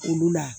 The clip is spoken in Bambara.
Olu la